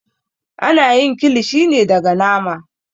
Ana yin kilishi ne daga nama.